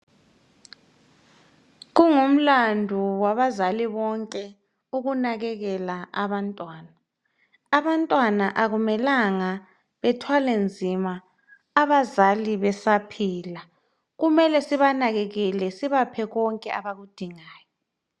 Kungumlandu wabazali bonke ukunakekela abantwana. Abantwana akumelanga bethwale nzima abazali besaphila kumele sinakelele sibaphe konke abakudingayo.